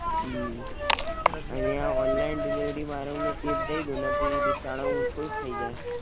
હમ અને આ ડિલવરી વાળાવ ને ટીપ દઈ દો ને એટલે બિચારાવ આમ ખુશ થઇ જાય.